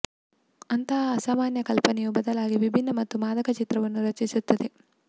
ಅಂತಹ ಅಸಾಮಾನ್ಯ ಕಲ್ಪನೆಯು ಬದಲಾಗಿ ವಿಭಿನ್ನ ಮತ್ತು ಮಾದಕ ಚಿತ್ರವನ್ನು ರಚಿಸುತ್ತದೆ